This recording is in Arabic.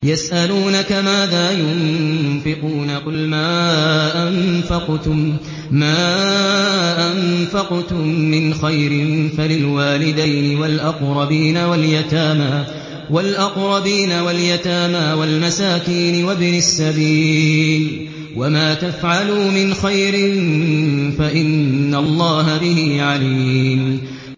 يَسْأَلُونَكَ مَاذَا يُنفِقُونَ ۖ قُلْ مَا أَنفَقْتُم مِّنْ خَيْرٍ فَلِلْوَالِدَيْنِ وَالْأَقْرَبِينَ وَالْيَتَامَىٰ وَالْمَسَاكِينِ وَابْنِ السَّبِيلِ ۗ وَمَا تَفْعَلُوا مِنْ خَيْرٍ فَإِنَّ اللَّهَ بِهِ عَلِيمٌ